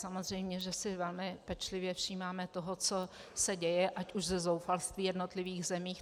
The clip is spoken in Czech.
Samozřejmě že si velmi pečlivě všímáme toho, co se děje, ať už ze zoufalství v jednotlivých zemích.